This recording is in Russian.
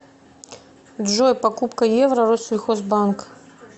джой покупка евро россельхозбанк